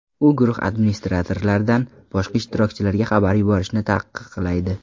U guruh administratorlaridan boshqa ishtirokchilarga xabarlar yuborishni taqiqlaydi.